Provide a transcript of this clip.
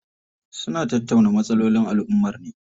Suna tattauna matsalolin alummar ne.